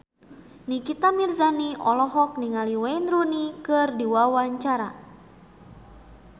Nikita Mirzani olohok ningali Wayne Rooney keur diwawancara